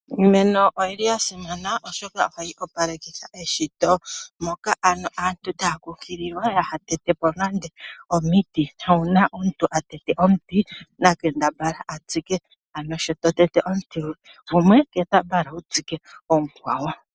Iimeno oyi li ya simana, oshoka ohayi opalekitha eshito. Moka ano aantu taya kunkililwa ya ha tete po nande omiti, na uuna omuntu a tete po omuti na kambadhala a tsike. Ano sho to tete omiti gumwe kembadhala wu tsike omukwawo.